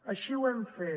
així ho hem fet